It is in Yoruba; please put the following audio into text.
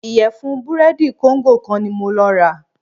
Ìyẹ̀fun búrẹ́dì kóńgò kan ní mo lọ rà.